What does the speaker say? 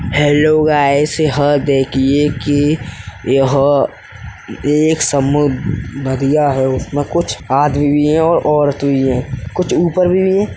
Hello guys यहाँ देखिये कि यह एक समूह बढ़िया है उसमें कुछ आदमी भी हैं और औरत भी हैं। कुछ ऊपर भी हैं।